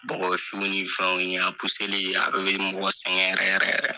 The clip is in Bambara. Bɔgɔsuw ni fɛnw ye a li a dɔw be mɔgɔ sɛŋɛn yɛrɛ yɛrɛ yɛrɛ.